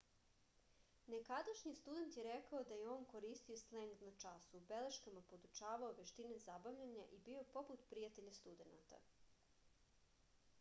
nekadašnji student je rekao da je on koristio sleng na času u beleškama podučavao veštine zabavljanja i bio poput prijatelja studenata